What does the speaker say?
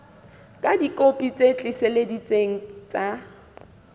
ka dikopi tse tiiseleditsweng tsa